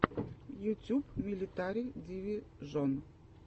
ютюб милитари дивижон